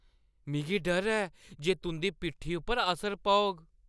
मिगी डर ऐ जे तुंʼदी पिट्ठी उप्पर असर पौग।